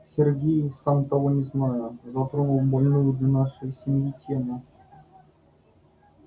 сергей сам того не зная затронул больную для нашей семьи тему